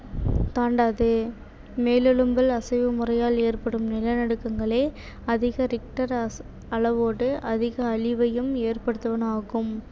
தாண்டாது மேலெழும்பல் அசைவு முறையால் ஏற்படும் நிலநடுக்கங்களே அதிக richter அளவோடு அதிக அழிவையும் ஏற்படுத்துவனவாகும்